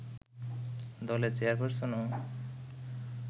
দলের চেয়ারপারসনও